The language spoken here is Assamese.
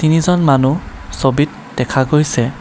তিনিজন মানুহ ছবিত দেখা গৈছে।